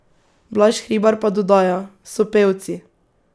Blaž Hribar pa dodaja: ''So pevci.